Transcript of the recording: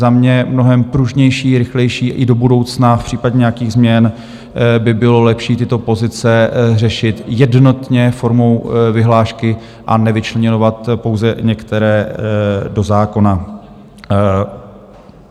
Za mě mnohem pružnější, rychlejší i do budoucna v případě nějakých změn by bylo lepší tyto pozice řešit jednotně formou vyhlášky a nevyčleňovat pouze některé do zákona.